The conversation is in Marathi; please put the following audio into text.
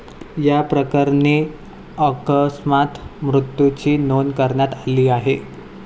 याप्रकरणी अकस्मात मृत्यूची नोंद करण्यात आली आहे.